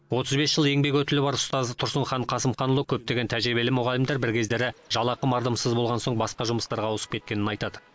отыз бес жыл еңбек өтілі бар ұстаз тұрсынхан қасымханұлы көптеген тәжірибелі мұғалімдер бір кездері жалақы мардымсыз болған соң басқа жұмыстарға ауысып кеткенін айтады